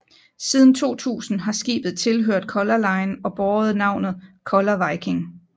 Siden 2000 har skibet tilhørt Color Line og båret navnet Color Viking